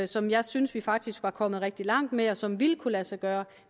som jeg synes vi faktisk var kommet rigtig langt med og som ville kunne lade sig gøre